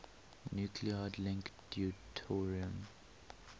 nuclide link deuterium